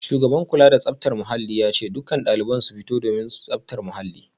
Shugaban kula da tsaftar muhalli ya ce dukkan daliban su fito domin tsaftar muhalli